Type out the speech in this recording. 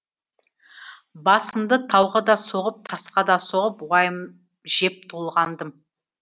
басымды тауға да соғып тасқа да соғып уайым жеп толғандым